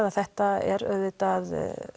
að þetta er auðvitað